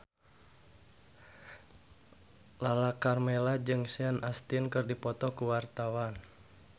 Lala Karmela jeung Sean Astin keur dipoto ku wartawan